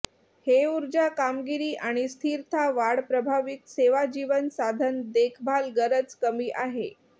हे ऊर्जा कामगिरी आणि स्थिरता वाढ प्रभावित सेवा जीवन साधन देखभाल गरज कमी आहे